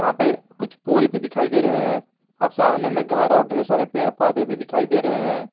यहां पे कुछ पोल भी दिखाई दे रहे हैं अब सामने में घर और ढेर सारे पेड़ पौधे भी दिखाई दे रहे हैं।